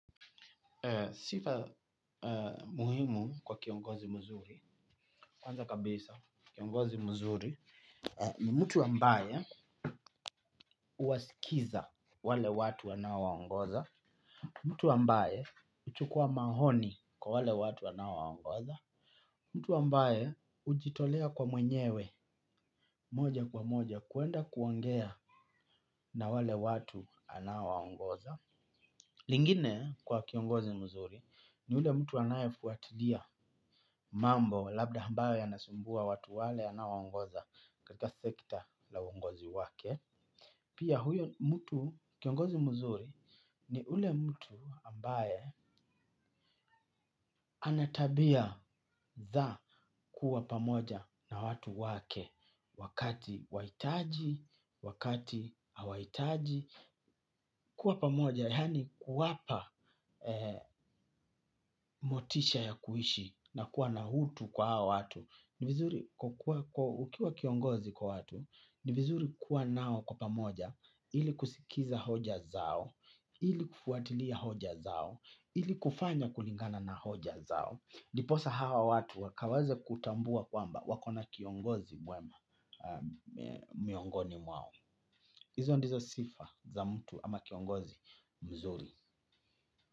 Sifa muhimu kwa kiongozi mzuri, kwanza kabisa kiongozi mzuri ni mtu wambaye huwasikiza wale watu anawaongoza, mtu wambaye huchukua maoni kwa wale watu anaowangoza, mtu wambaye hujitolea kwa mwenyewe moja kwa moja kuenda kuongea na wale watu anawaongoza. Lingine kwa kiongozi mzuri ni ule mtu anayefuatilia mambo labda ambayo yanasumbua watu wale anaowangoza katika sekta la wangozi wake. Pia huyo kiongozi mzuri ni ule mtu ambaye ana tabia za kuwa pamoja na watu wake wakati anawahitaji, wakati hawahitaji. Kuwa pamoja, yaani kuwapa motisha ya kuishi na kuwa na utu kwa hawa watu, ukiwa kiongozi kwa watu ni vizuri kuwa nao kwa pamoja ili kusikiza hoja zao ili kufuatilia hoja zao ili kufanya kulingana na hoja zao ndiposa hawa watu wakawaze kutambua kwamba wako na kiongozi mwema miongoni mwao izo ndizo sifa za mtu ama kiongozi mzuri.